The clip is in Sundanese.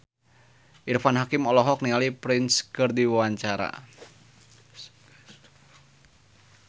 Irfan Hakim olohok ningali Prince keur diwawancara